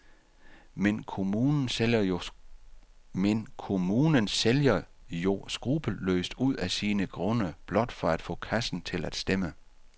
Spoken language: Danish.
Men kommunen sælger jo skruppelløst ud af sine grunde blot for at få kassen til at stemme.